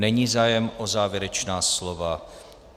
Není zájem o závěrečná slova.